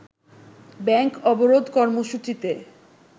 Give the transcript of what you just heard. bank অবরোধ কর্মসূচিতে